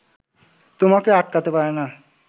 তোমাকে আটকাতে পারে না